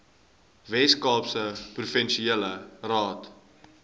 weskaapse provinsiale raad